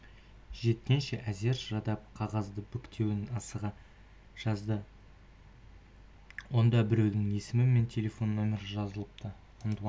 жеткенше әзер шыдап қағаздың бүктеуін асыға жазды онда біреудің есімі мен телефон нөмірі жазылыпты антуан